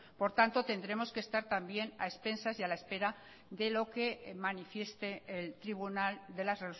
por tanto tendremos que estar también a expensas y a la espera de lo que manifieste el tribunal de las